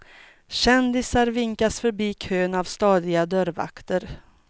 Kändisar vinkas förbi kön av stadiga dörrvakter.